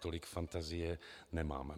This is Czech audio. Tolik fantazie nemám.